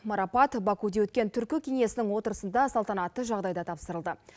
марапат бакуде өткен түркі кеңесінің отырысында салтанатты жағдайда тапсырылды